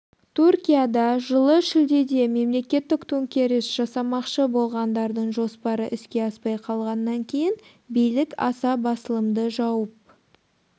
түркияда жылы шілдеде мемлекеттік төңкеріс жасамақшы болғандардың жоспары іске аспай қалғаннан кейін билік аса басылымды жауып